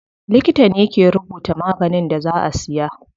Likita ne ke rubuta maganin da za a siya.